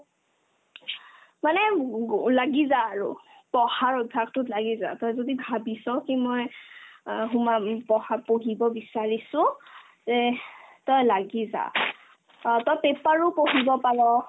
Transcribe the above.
মানে গু লাগি যা আৰু পঢ়াৰ অভ্যাসতোত লাগি যা তই যদি ভাবিছ কি মই অ সোমাম উম পঢ়া পঢ়িব বিচাৰিছো তে তই লাগি যা অ তই paper ও পঢ়িব পাৰ